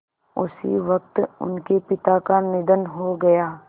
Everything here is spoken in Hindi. उसी वक़्त उनके पिता का निधन हो गया